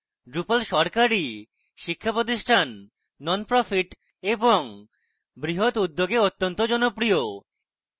drupal সরকারি শিক্ষাপ্রতিষ্ঠান nonprofits এবং বৃহৎ উদ্যোগে অত্যন্ত জনপ্রিয়